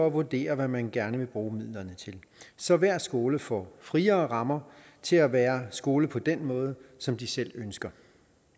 at vurdere hvad man gerne vil bruge midlerne til så hver skole får friere rammer til at være skole på den måde som de selv ønsker